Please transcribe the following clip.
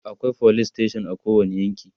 akwai police station a kowani yanki